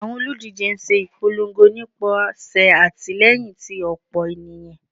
Awọn oludije n ṣe ipolongo nipasẹ atilẹyin ti ọpọ eniyan